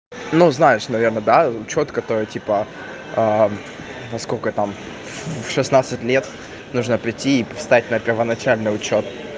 ну знаешь наверное да чётко то типа во сколько там в шестнадцать лет нужно прийти и стать на первоначальный учёт